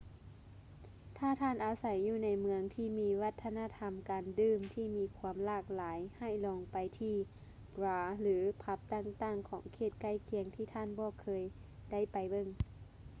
ຖ້າທ່ານອາໄສຢູ່ໃນເມືອງທີ່ມີວັດທະນະທຳການດື່ມທີ່ມີຄວາມຫຼາກຫຼາຍໃຫ້ລອງໄປທີ່ບາຣ ຫຼື ຜັບຕ່າງໆຂອງເຂດໃກ້ຄຽງທີ່ທ່ານບໍ່ຄ່ອຍໄດ້ໄປເບິ່ງ